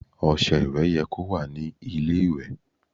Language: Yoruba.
Ọṣẹ ìwẹ̀ yẹ kó wà ní ilé ìwẹ̀.